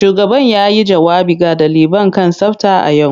Shugaban yayi jawabi ga daliban kan tsafta a yau.